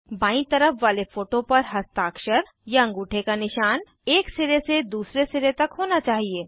बायीं तरफ वाले फोटो पर हस्ताक्षरअँगूठे का निशान एक सिरे से दूसरे सिरे तक होना चाहिए